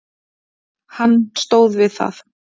Hann stóð við það.